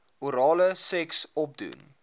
orale seks opdoen